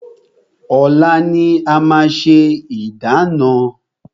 Ọ̀la ni a máa ṣe ìdána.